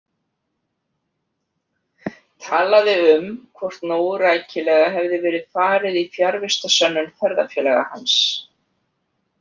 Talaði um hvort nógu rækilega hefði verið farið í fjarvistarsönnun ferðafélaga hans.